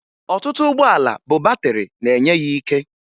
Ọtụtụ ụgbọala bụ batịrị na-enye ya ike